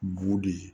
Bu de ye